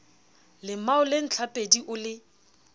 lemao le ntlhapedi o le